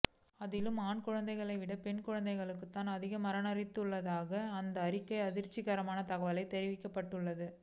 அதிலும் ஆண் குழந்தைகளை விட பெண் குழந்தைகள்தான் அதிகம் மரணித்துள்ளதாக அந்த அறிக்கையில் அதிர்ச்சிகரமான தகவல் தெரிவிக்கப்பட்டுள்ளது